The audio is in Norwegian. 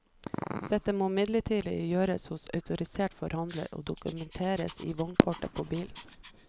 Dette må imidlertid gjøres hos autorisert forhandler og dokumenteres i vognkortet på bilen.